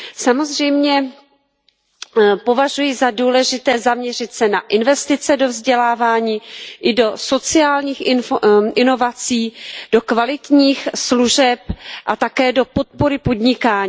Samozřejmě považuji za důležité zaměřit se na investice do vzdělávání i do sociálních inovací, do kvalitních služeb a také do podpory podnikání.